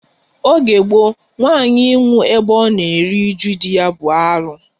Oge gboo, nwanyị ịnwụ ebe ọ na eru uju dị ya bụ alu